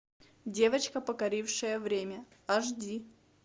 девочка покорившая время аш ди